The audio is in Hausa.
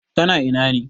Ka na ina ne?